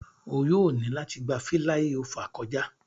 O yoo ni lati gba filaiofa kọja.